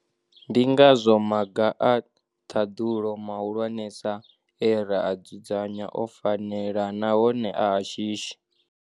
Ndi ngazwo maga a ṱhaḓulo mahulwanesa e ra a dzudzanya o fanela nahone a a shishi.